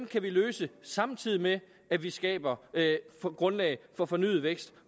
kan vi løse samtidig med at vi skaber grundlaget for fornyet vækst